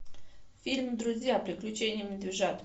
фильм друзья приключения медвежат